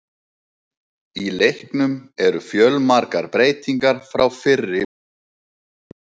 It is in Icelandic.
Í leiknum eru fjölmargar breytingar frá fyrri útgáfum.